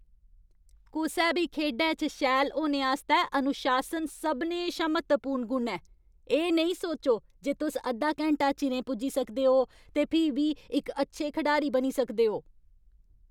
कुसै बी खेढै च शैल होने आस्तै अनुशासन सभनें शा म्हत्तवपूर्ण गुण ऐ। एह् नेईं सोचो जे तुस अद्धा घैंटा चिरें पुज्जी सकदे ओ ते फ्ही बी इक अच्छे खढारी बनी सकदे ओ।